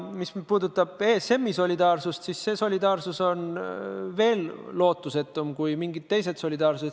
Mis puudutab ESM-i solidaarsust, siis see on veel lootusetum kui mingid teised solidaarsused.